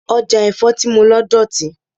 Ọjà èso tí mo lọ dọ̀tí.